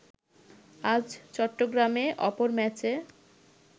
আজ চট্টগ্রামে অপর ম্যাচে